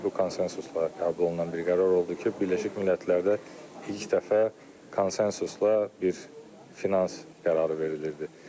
Bu konsensusla qəbul olunan bir qərar oldu ki, Birləşmiş Millətlərdə ilk dəfə konsensusla bir finans qərarı verilirdi.